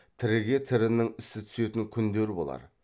тіріге тірінің ісі түсетін күндер болар